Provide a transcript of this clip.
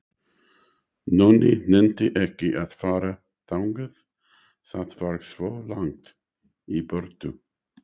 Nonni nennti ekki að fara þangað, það var svo langt í burtu.